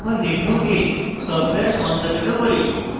এখন netbook এ software সংস্থাপিত করি